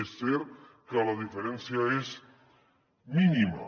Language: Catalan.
és cert que la diferència és mínima